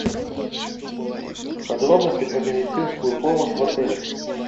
подробности про медицинскую помощь в отеле